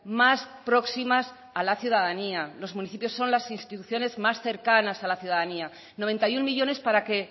más próximas a la ciudadanía los municipios son las instituciones más cercanas a la ciudadanía noventa y uno millónes para que